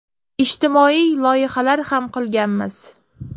Ijtimoiy loyihalar ham qilganmiz.